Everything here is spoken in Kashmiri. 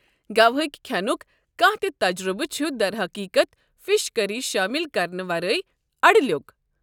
گوا ہکہِ کھٮ۪نُک کانٛہہ تہِ تجرُبہٕ چھُ درحقیٖقت، فش کٔرِی شٲمِل کرنہٕ ورٲے اڈٕلیو٘ك ۔